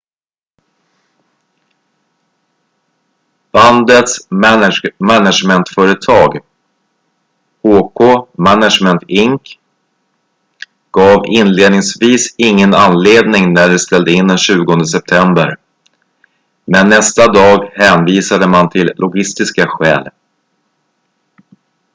bandets management-företag hk management inc gav inledningsvis ingen anledning när de ställde in den 20 september men nästa dag hänvisade man till logistiska skäl